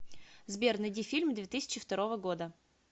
сбер найди фильм две тысячи второго года